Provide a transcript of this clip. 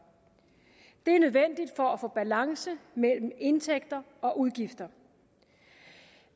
det er nødvendigt for at få balance mellem indtægter og udgifter